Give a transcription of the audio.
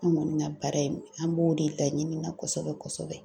An kɔni ka baara in an b'o de laɲini na kosɛbɛ-kosɛbɛ.